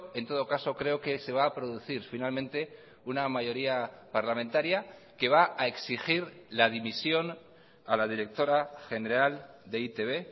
en todo caso creo que se va a producir finalmente una mayoría parlamentaria que va a exigir la dimisión a la directora general de e i te be